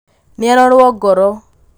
nĩarorwo ngoro